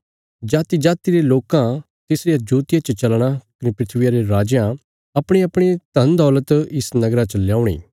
जातिजाति रे लोकां तिसरिया जोतिया च चलना कने धरतिया रे राजयां अपणीअपणी धनदौलत इस नगरा च ल्यौणी